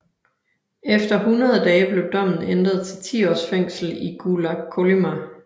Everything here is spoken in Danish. Efter 100 dage blev dommen ændret til 10 års fængsel i Gulag Kolyma